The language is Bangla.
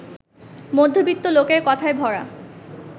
মধ্যবিত্ত লোকের কথায় ভরা